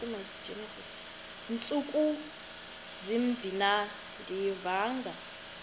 ntsuku zimbin andiyivanga